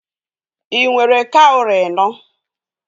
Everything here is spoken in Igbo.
Ị nwere kawrị enọ?